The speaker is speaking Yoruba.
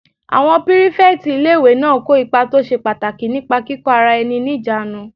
Àwọn pírífẹ̀tì ilé-ìwé náà kó ipa tó ṣe pàtàkì nípa kíkó ara ẹni ní ìjánu